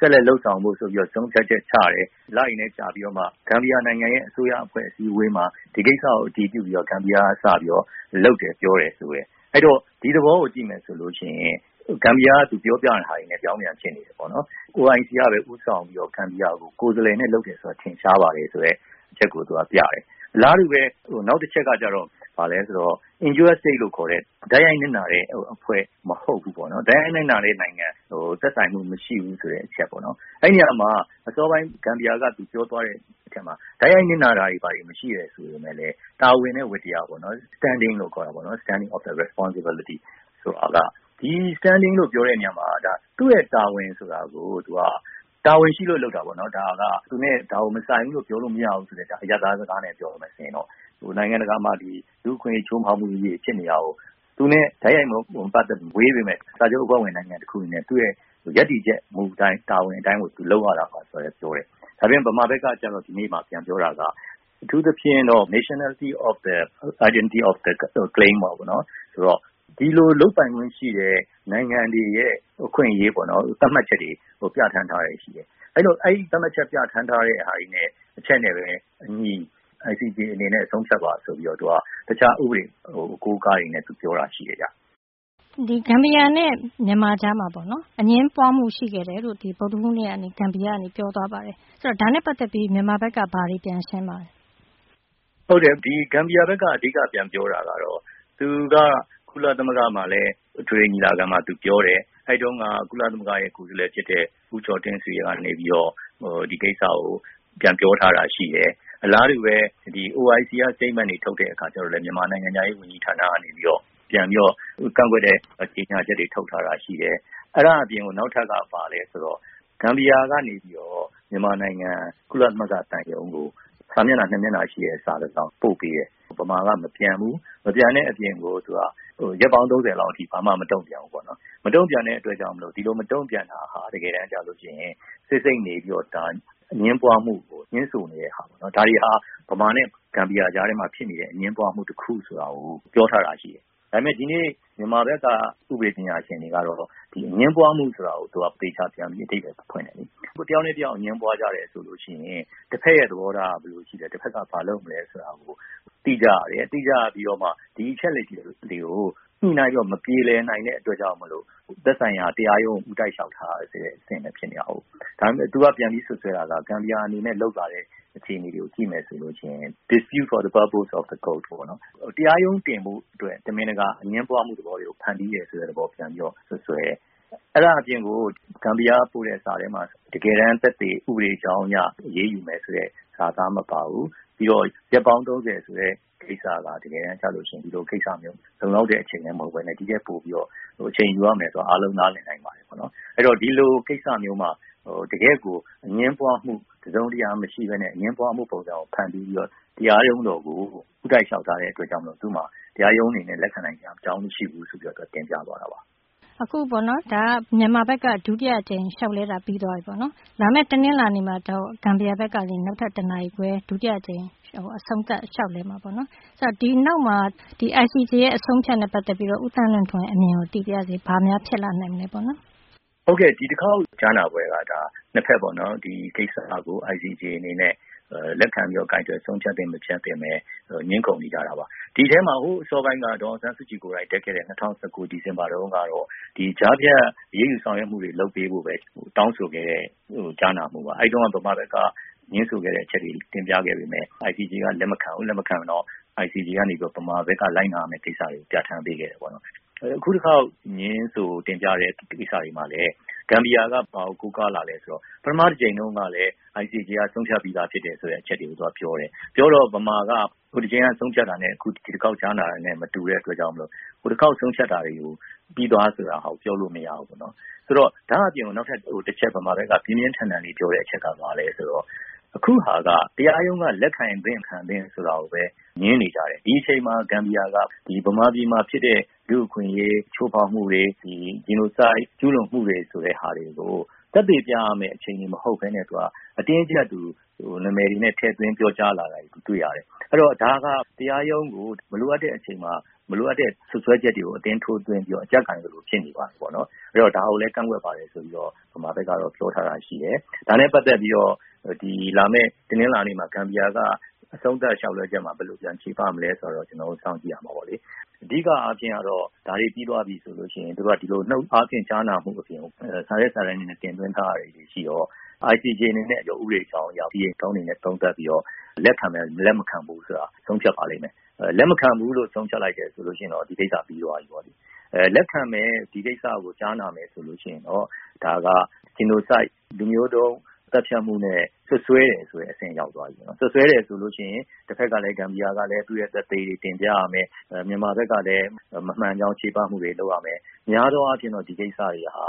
ဆက်လက် လုပ်ဆောင်ဖို့ဆိုပြီး ဆုံဖြတ်ချက်ချတယ်။ ဂမ်ဘီယာနိုင်ငံရဲ့ အစိုးရအစည်းအဝေးမှာ ဒီကိစ္စကိုအတည်ပြုပြီးတော့မှ ဂမ်ဘီယာက လုပ်တယ်ပြောတယ်။ ဒီသဘောကို ကြည့်မယ်ဆိုရင် ဂမ်ဘီယာက သူပြောတာတွေနဲ့ ပြောင်းပြန်ဖြစ်နေတယ်။ OIC ကပဲ ခေါင်းဆောင်ပြီးတော့ ဂမ်ဘီယာကို ကိုယ်စားလှယ်နဲ့လုပ်တာ ထင်ရှားပါတယ်ဆိုတဲ့အချက်ကို သူကပြတယ်။ နောက်တချက်က Injured State လိုခေါ်တဲ့ တိုက်ရိုက်နစ်နာတဲ့နိုင်ငံမဟုတ်ဘူးပေါ့။ သက်ဆိုင်မှုမရှိဘူးပေါ့။ အစောပိုင်း ဂမ်ဘီယာက သူပြောသွားတာက တိုက်ရိုက်နစ်နာတာမရှိပေမယ့်လည်း တာဝန်နဲ့ ဝတ္တရားပေါ့နော်။ Standing of responsibility ။ ဒီ Standing လို့ပြောတဲ့အခါမှာ သူရဲ့တာဝန်ရှိလို့လုပ်တာပေါ့။ စာချုပ်အဖွဲ့ဝင်နိုင်ငံတခုအနေနဲ့ သူနဲ့မဆိုင်ဘူးလို့ပြောလို့မရဘူးပေါ့။ နိုင်ငံတကာမှာ လူ့အခွင်အရေး ချိုးဖောက်မှုတွေဖြစ်နေတာကို သူနဲ့ တိုက်ရိုက်မပတ်သက်ဘူး။ ဝေးနေတာကို ရပ်တည်ချက် တာဝန်အတိုင်းလုပ်ရတာပါဆိုပြီးတော့ ပြောတယ်။ ဗမာဖက်က ဒီနေ့ ပြန်ပြီးတော့ ပြောတာက အထူးသဖြင့်တော့ Nationality of the Identity of The Claim ပေါ့နော်။ ဒီလိုလုပ်ပိုင်ခွင့်ရှိတဲ့ နိုင်ငံတွေရဲ့ အခွင့်အရေး သတ်မှတ်ချက်တွေ ပြဌာန်းထားတာ့ရှိတယ်။ အဲဒီသတ်မှတ်ထားတဲ့အချက်နဲ့ပဲ ICJ အနေနဲ့ ဆိုဖြတ်ပါဆိုပြီး တခြားဥပဒေအကိုးအကားတွေနဲ့ ပြောတာရှိတယ်။ ဂမ်ဘီယာနဲ့ ဗမာအကြားမှာ အငြင်းပွားမှုရှိခဲ့တယ်ဆိုပြီး ဗုဒ်ဓဟူးနေ့က ဂမ်ဘီယာက ပြောသွားတာရှိတယ်။ ဒါနဲ့ပတ်သက်ပြီး မြန်မာဖက်က ဘာတွေပြန်ရှင်းပါသလဲ။ ဂမ်ဘီယာဖက်က အဓိက ပြန်ပြောတာကတော့ သူက ကုလသမဂ္ဂမှာလည်း အထွေထွေညီလာခံမှာ သူပြောတယ်။ အလားတူပဲ OIC က Statement တွေထုတ်တဲ့အခါမှာလည်း ဗမာနိုင်ငံခြားရေးဝန်ကြီးဌာနကနေ ပြန်ပြီးတော့ ကန့်ကွက်တဲ့ ကြေညာချက်တွေထုတ်ထားတာရှိတယ်။ အဲဒါအပြင်ကို နောက်ထပ်က ဘာလဲဆိုတော့ ဂမ်ဘီယာကနေပြီးတော့ မြန်မာနိုင်ငံ ကုလသမဂ္ဂသံရုံးကို စာမျက်နှာ ၂ မျက်နှာရှိတဲ့ စာတဆောင်ပို့ပေးတယ်။ ဗမာက မပြန်ဘူး။ မပြန်တဲ့အပြင်ကို သူက ရက်ပေါင်း ၃ဝ လောက်အထိ ဘာမှမတုံပြန်ဘူးပေါ့နော်။ ဒီလိုမတုံပြန်တာဟာ တကယ်တန်းကြတော့ ဆိတ်ဆိတ်နေပြီးတော့ အငြင်းပွားမှုကို ညွှန်းဆိုနေတဲ့ဟာပေါ့နော်။ ဒါတွေဟာ မြန်မာနဲ့ ဂမ်ဘီယာအကြားအငြင်းပွားမှုဆိုတာကို ပြောထားတာရှိတယ်။ ဒီနေ့ မြန်မာဖက်က ဥပဒေပညာရှင်တွေကတော့ အငြင်းမှုဆိုတာကို ပြန်ပြီးတော့ အဓိပ္ပါယ်ဖွင့်တယ်လေ။ တယောက်နဲ့ တယောက်အငြင်းပွားကြတယ်ဆိုရင် တဖက်ရဲ့ သဘောထားကို သိကြရတယ်။ သိကြရပြီးတော့မှ ဒီအချက်လက်တွေကို ညှိနှိုင်းပြီးတော့မှ မပြေလည်နိုင်တဲ့အတွက်ကြောင့် သက်ဆိုင်ရာ တရားရုံးကို ဦးတိုက်လျှောက်ထားရတာကို။ ဒါပေမယ့် သူက ပြန်ပြီးတော့ စွပ်စွဲတာက ဂမ်ဘီယာအနေနဲ့ လုပ်လာတဲ့အခြေအနေတွေကို ကြည့်မယ်ဆိုလို့ရှိရင် "dispute for purpose of court" တရားရုံးတင်ဘို့ရည်ရွယ်ချက်သက်သက်နဲ့ လုပ်ဆောင်ခဲ့တဲ့အကွက်တွေလို့မြန်မာဘက်ကဥပဒေပညာရှင်တွေက စွပ်စွဲတယ်။ အဲဒါအပြင်ကို ဂမ်ဘီယာကပို့တဲစာထဲမှာ တကယ်တန်း သက်သေ ဥပဒေအကြောင်းအရ အရေးယူမယ်ဆိုတဲ့ စာသားမပါဘူး။ ပြီးတော့ ရက်ပေါင်း ၃ဝ ဆိုတဲ့ကိစ္စက တကယ်တန်း လုံလောက်တဲ့အချိန်လည်းမဟုတ်ပဲနဲ့ အချိန်ယူရမယ်ဆိုတာ အားလုံးနားလည်နိုင်ပါတယ်ပေါ့နော်။ အဲဒီတော့ ဒီလိုကိစ္စမျိုးမှာ တကယ်ကို အငြင်းပွားမှု တစုံတရာမရှိပဲနဲ့ တရားရုံးတော်ကို ဦးတိုက်လျှောက်ထားတဲ့အတွက်မို့ သူမှာ တရားရုံးအနေနဲ့ လက်ခံနိုင်စရာအကြောင်းမရှိဘူးလို့ တင်ပြသွားပါတယ်။ မြန်မာဖက်က ဒုတိယအကြိမ်လျှောက်လဲတာပြီးသွားပြီပေါ့နော်။ လာမယ့် တနင်္လာနေ့ကြရင် ဂမ်ဘီယာဖက်က အဆုံးသတ် လျှောက်လဲမှာ။ ဒီနောက်မှာ ICJ ရဲ့ အဆုံးအဖြတ်နဲ့ ပတ်သက်ပြီးတော့ ဦးသန်လွင်ထွန်း ရဲ့ အမြင်ကိုလည်းသိပါရစေ။ ဒီတခေါက်ကြားနာပွဲက ၂ဖက်ဒီကိစ္စကို ICJ အနေနဲ့ လက်ခံပြီးတော့ ကိုင်တွယ်ဆုံးဖြတ်သင့်မသင့်နဲ့ ဒီထဲမှာ ဟိုအစောပိုင်းက ဒေါ်အောင်ဆန်းစုကြည်ကိုယ်တိုင် ကြားဖြတ်အရေးယူမှုတွေလုပ်ပေးဖို့ပဲ တောင်းဆိုခဲ့တဲ့ ကြားနာမှုပါ။ အဲတုံးက ဗမာဖက်က ငြင်းဆိုခဲ့တဲ့ အချက်တွေ တင်ပြခဲ့ပေမယ့် ICJ က လက်မခံဘူး။ ICJ ကနေ ဗမာဖက်က လက်နာရမယ့်အချက်တွေ တင်ပြခဲ့တယ်။ အခုတခေါက်ငြင်းဆိုတင်ပြတဲ့ကိစ္စတွေမှာလည်း ဂမ်ဘီယာ က ဘာကို ကိုးကားလာလည်းဆိုတော့ ပထမတကြိမ်တုံးကလည်း ICJ က ဆုံးဖြတ်ပြီးသားလို့ပြောတယ်။ ပြောတော့ ဗမာက ဟိုတချိန်က ဆုံးဖြတ်တာနဲ့ ဒီတခေါက် ကြားနာတာ မတူတဲ့အတွက်ကြောင့် ဟိုတခေါက်ဆုံးဖြတ်တာတွေကို ပြီးသွားပြီဆိုတာကို ပြောလို့မရဘူးလို့ပြောတယ်။ ဒါအပြင် ဗမာဖက်က ပြင်းပြင်းထန်ထန်ပြောတဲ့အချက်က အခုဟာက တရားရုံးက လက်ခံသင့် မခံသင့်ဆိုတာကိုပဲ ငြင်းနေကြတယ်။ ဒီအချိန်မှာဂမ်ဘီယာက ဗမာပြည်မှာ ဖြစ်တဲ့ လူ့အခွင့်အရေးချိုးဖောက်မှု Genocide ကျူးလွန်မှုဆိုတဲ့ဟာတွေကို သက်သေပြရမယ့်အချိန်မဟုတ်ပဲနဲ့ အတင်းအကြပ် နာမည်တွေနဲ့ ထဲ့သွင်းပြောကြားလာတာကို သူတွေ့ရတယ်။ အဲတော့ ဒါတွေက တရားရုံးကို မလိုအပ်တဲ့အချိန်မှာ မလိုအပ်တဲ့အရာတွေကို အတင်းထိုးသွင်းပြီးတော့ အကြပ်ကိုင်သလိုဖြစ်နေပါတယ်ပေါ့လို့ ဗမာဖက်က ပြောထားတာရှိတယ်။ ဒါနဲ့ပတ်သက်ပြီးတော့ ကျနော်တို့ စောင့်ကြည့်ရမှာပေါ့လေ။ အဓိကအားဖြင့်တော့ နုတ်အားဖြင့် ကြားနာမှုအပြင်ကို စာရွက်စာတမ်းတွေနဲ့တင်သွင်းထားတာကို ICJ အနေနဲ့ လက်ခံမယ် လက်မခံဘူးဆိုတာကို ဆုံးဖြတ်ပါလိမ့်မယ်။ လက်မခံဘူးလို့ဆုံးဖြတ်လိုက်ရင်တော့ ဒီကိစ္စပြီးသွားပြီ။ လက်ခံမယ်ဆိုပြီး ဒီကိစ္စကြားနာမယ်ဆိုရင်တော့ ဒါက လူမျိုးတုံးသတ်ဖြတ်မှုနဲ့ စွပ်စွဲတယ်ဆိုတဲ့အဆင့်ရောက်သွားပြီ။ စွပ်စွဲတယ်ဆိုလို့ရှိရင် တဖက်ကလည်း ဂမ်ဘီယာကလည်း သူရဲ့ သက်သေတွေတင်ပြရမယ်။ မြန်မာဖက်ကလည်း မမှန်ကြောင်းချေပမှုတွေလုပ်ရမယ်။ များသောအားဖြင့်တော့ ဒီကိစ္စတွေဟာ